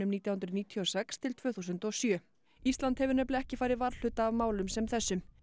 nítján hundruð níutíu og sex til tvö þúsund og sjö ísland hefur nefnilega ekki farið varhluta af málum sem þessum